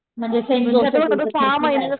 म्हणजे